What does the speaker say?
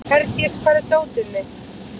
Herdís, hvar er dótið mitt?